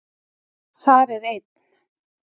Þar er einn